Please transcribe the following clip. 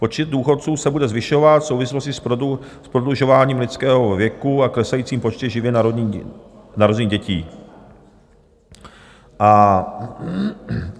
Počet důchodců se bude zvyšovat v souvislosti s prodlužováním lidského věku a klesajícím počtem živě narozených dětí.